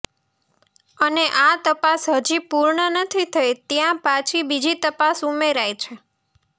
અને આ તપાસ હજી પૂર્ણ નથી થઇ ત્યાં પાછી બીજી તપાસ ઉમેરાઈ છે